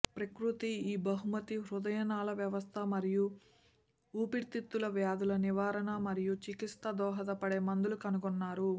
ప్రకృతి ఈ బహుమతి హృదయనాళ వ్యవస్థ మరియు ఊపిరితిత్తులు వ్యాధుల నివారణ మరియు చికిత్స దోహదపడే మందులు కనుగొన్నారు